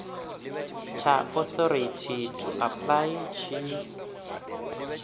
tsha authority to apply tshi